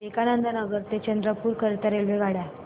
विवेकानंद नगर ते चंद्रपूर करीता रेल्वेगाड्या